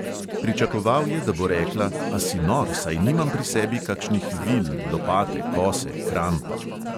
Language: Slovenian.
Pričakoval je, da bo rekla: "a si nor, saj nimam pri sebi kakšnih vil, lopate, kose, krampa …"